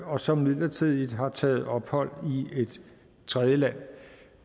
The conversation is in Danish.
og som midlertidigt har taget ophold i et tredjeland